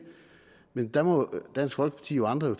men der må dansk folkeparti og andre jo